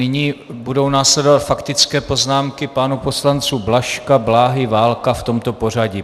Nyní budou následovat faktické poznámky pánů poslanců Blažka, Bláhy, Válka v tomto pořadí.